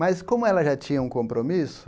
Mas, como ela já tinha um compromisso,